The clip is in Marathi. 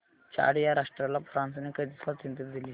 चाड या राष्ट्राला फ्रांसने कधी स्वातंत्र्य दिले